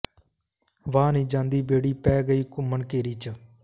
ਵਾਹ ਨੀ ਜਾਂਦੀ ਬੇੜੀ ਪੈ ਗਈ ਘੁੰਮਣ ਘੇਰੀ ਚ